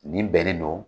Nin bɛnnen don